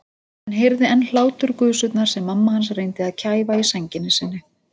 Hann heyrði enn hláturgusurnar sem mamma hans reyndi að kæfa í sænginni sinni.